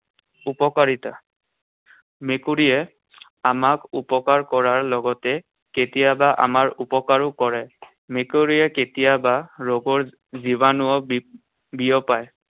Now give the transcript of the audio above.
উপকাৰিতা। মেকুৰীয়ে আমাক উপকাৰ কৰাৰ লগতে কেতিয়াবা আমাৰ উপকাৰো কৰে। মেকুৰীয়ে কেতিয়াবা ৰোগৰ জীবাণুও বি~বিয়পায়।